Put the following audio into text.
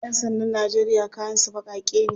Yan sandan Najeriya kayan su bakake ne.